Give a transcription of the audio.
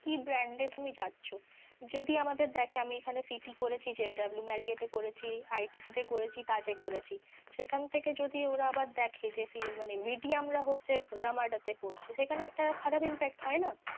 কি brand এ তুমি যাচ্ছ, যদি আমাদের দেখে আমি এখানে CT করেছি JW Marriot এ করেছি ITC তে করেছি, তায এ করেছি, সেখান থেকে যদি ওরা আবার দেখে যে রামাডা তে করছে সেখানে একটা খারাপ impact হয়ে না।